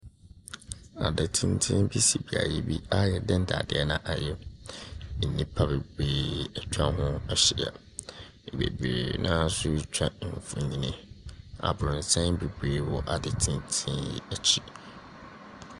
Adan tenten bi si beayɛ bi a yɛde ndadeɛ na ayɛ. Nnipa bebree etwa ɔmo ho ehyia. Bebree naa so twa mfonin. Aboronsan bebree wɔ ade tenten ekyi.